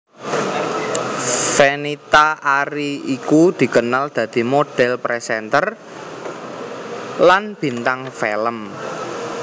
Fenita Arie iku dikenal dadi modhél presenter lan bintang film